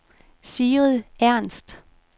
Sigrid Ernst